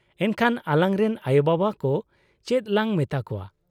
-ᱮᱱᱠᱷᱟᱱ ᱟᱞᱟᱝ ᱨᱮᱱ ᱟᱭᱳᱼᱵᱟᱵᱟ ᱠᱚ ᱪᱮᱫ ᱞᱟᱝ ᱢᱮᱛᱟ ᱠᱚᱶᱟ ?